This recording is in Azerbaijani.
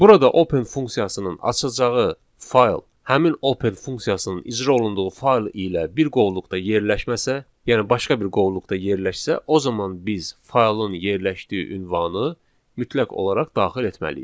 Burada open funksiyasının açacağı fayl həmin open funksiyasının icra olunduğu fayl ilə bir qovluqda yerləşməsə, yəni başqa bir qovluqda yerləşsə, o zaman biz faylın yerləşdiyi ünvanı mütləq olaraq daxil etməliyik.